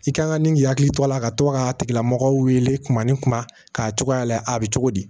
I kan ka nin k'i hakili to a la ka to k'a tigilamɔgɔ wele k'a ni kuma k'a cogoya la a bɛ cogo di